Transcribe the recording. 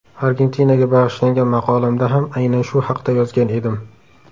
Argentinaga bag‘ishlangan maqolamda ham aynan shu haqda yozgan edim.